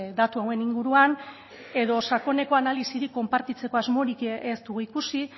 datu hauen inguruan edo sakoneko analisirik konpartitzeko asmorik ez dugu ikusi